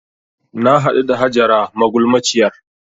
Na haɗu da Hajara magulmaciyar